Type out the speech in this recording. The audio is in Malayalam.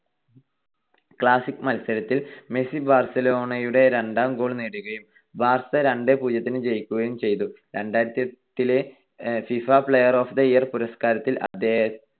classic മത്സരത്തിൽ മെസ്സി ബാർസലോണയുടെ രണ്ടാം goal നേടുകയും ബാർസ രണ്ട് - പൂജ്യത്തിന് ജയിക്കുകയും ചെയ്തു. രണ്ടായിരത്തിയെട്ടിലെ FIFA player of the year പുരസ്കാരത്തിൽ അദ്ദേഹം